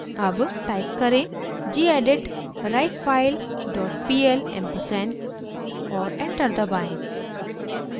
अब टाइप करें: gedit writefile dot pl ampersand और एंटर दबाएं